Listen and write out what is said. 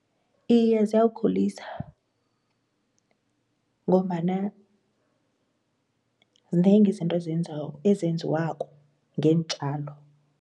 Iye ziyawukhulisa ngombana zinengi izinto ezenziwako ngeentjalo.